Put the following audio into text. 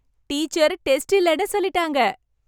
Teacher test இல்லைனு சொல்லிட்டாங்க!